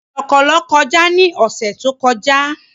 Kọ̀lọ̀kọ̀lọ̀ kọjá ní ọ̀sẹ̀ tó kọjá